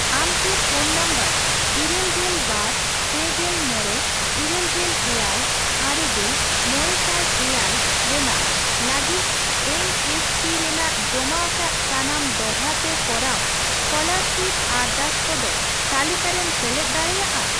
ᱟᱢᱠᱤ phone number ᱤᱨᱟᱹᱞᱜᱮᱞ ᱵᱟᱨ ,ᱯᱮᱜᱮᱞ ᱢᱚᱲᱮ ,ᱤᱨᱟᱹᱞᱜᱮᱞ ᱮᱭᱟᱭ ,ᱟᱨᱮᱜᱮᱞ ,ᱢᱚᱲᱮᱥᱟᱭ ᱮᱭᱟᱭ ᱨᱮᱱᱟᱜ ᱞᱟᱜᱤᱫ ᱮᱱ ᱮᱥ ᱯᱤ ᱨᱮᱱᱟᱜ ᱡᱚᱢᱟ ᱟᱠᱟᱫ ᱥᱟᱱᱟᱢ ᱫᱚᱲᱦᱟ ᱛᱮ ᱠᱚᱨᱟᱣ ᱮᱥᱠᱚᱞᱟᱨᱟᱥᱤᱯ ᱟᱨᱫᱟᱥ ᱠᱚᱫᱚ ᱛᱟᱞᱤᱠᱟᱨᱮᱢ ᱥᱮᱞᱮᱫ ᱫᱟᱲᱮᱭᱟᱜᱼᱟ?